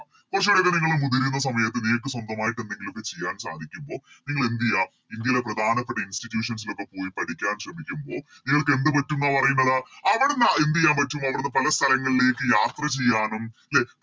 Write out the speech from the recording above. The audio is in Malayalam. കുറച്ചൂടെക്കെ നിങ്ങള് മുതിരുന്ന സമയത്ത് നിങ്ങക്ക് സ്വന്തമായിട്ട് എന്തെങ്കിലോക്കെ ചെയ്യാൻ സാധിക്കുമ്പോ നിങ്ങളെന്തെയ്യ ഇന്ത്യയിലെ പ്രധാനപ്പെട്ട Institution ലോക്കെ പോയി പഠിക്കാൻ ശ്രമിക്കുമ്പോൾ നിങ്ങൾക്ക് എന്ത് പറ്റുംന്ന പറയുന്നെടാ അവിടുന്ന് എന്തെയ്യൻ പറ്റും അവിടുന്ന് പല സ്ഥലങ്ങളിലേക്ക് യാത്ര ചെയ്യാനും ലെ